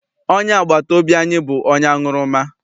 Onye agbata obi anyị bụ onye aṅụrụma.